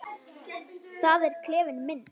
Það er klefinn minn.